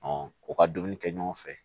u ka dumuni kɛ ɲɔgɔn fɛ